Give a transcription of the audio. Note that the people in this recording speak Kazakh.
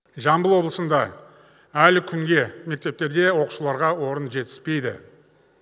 жамбыл облысында әлі күнге мектептерде оқушыларға орын жетіспейді